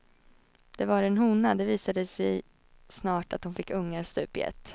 Det var en hona, det visade sig snart att hon fick ungar stup i ett.